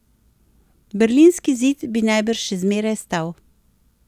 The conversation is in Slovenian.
Berlinski zid bi najbrž še zmeraj stal.